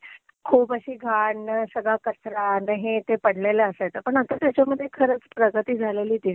खूप अशी घाण, सगळा कचरा आणि हे ते पडलेलं असायच. पण आता त्याच्यामधे खरंच प्रगती झालेली दिसतेय.